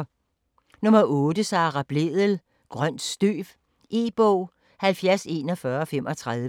9. Blædel, Sara: Grønt støv E-bog 704135